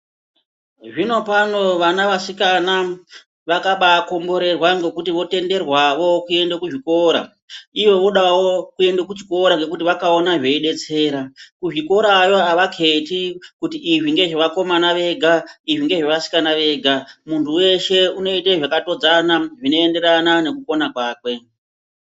Zvinopano vana vasikana vakabaakomborerwa ngokuti votenderwawo kuenda kuzvikora. Ivo vodawo kuende kuchikora ngekuti vakaona zveidetsera. Kuzvikorayo havaketi kuti izvi ngezvevakomana vega izvi ngezvevasikana vega. Muntu weshe unoite zvakatodzana zvinoendarana nekukona kwakwe.